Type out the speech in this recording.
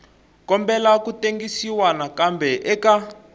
kombela ku tengisiwa nakambe eka